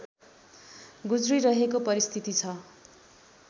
गुज्रिरहेको परिस्थिति छ